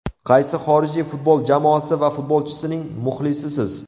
Qaysi xorijiy futbol jamoasi va futbolchisining muxlisisiz?